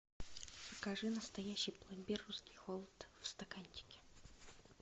закажи настоящий пломбир русский холод в стаканчике